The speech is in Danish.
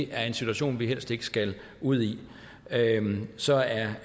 er en situation vi helst ikke skal ud i så er